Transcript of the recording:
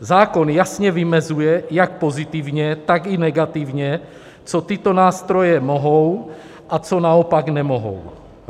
Zákon jasně vymezuje, jak pozitivně, tak i negativně, co tyto nástroje mohou a co naopak nemohou.